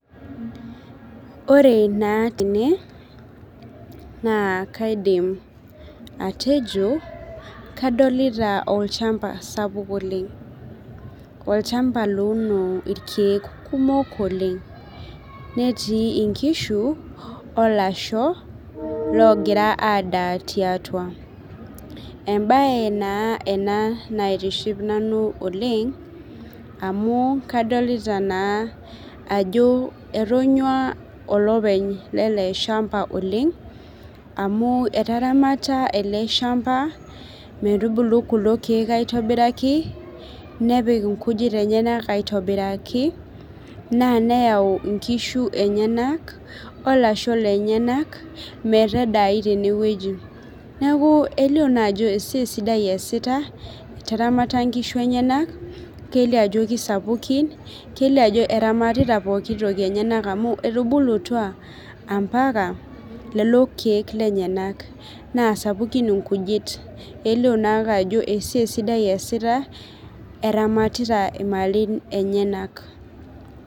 Ore naa tene naa kaidim atejo kadolita olchamba sapuk oleng olchamba louno irkeek kumok oleng netii inkishu olasho logira adaa tiatua embaye naa ena naitiship nanu oleng amu kadolita naa ajo etonyua olopeny lele shamba oleng amu etaramata ele shamba metubulu kulo keek aitobiraki nepik inkujit enyenak aitobiraki naa neyau inkishu enyenak olasho lenyenak metadai tenewueji neku elio naa ajo esiai sidai esita etaramata inkishu enyenak kelio ajo kisapukin kelio ajo eramatita pokitoki enyenak amu etubulutua ampaka lelo keek lenyenak naa sapukin inkujit elio naake ajo esiai sidai eesita eramatita imalin enyenak.